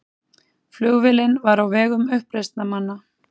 Flugvélin var á vegum uppreisnarmanna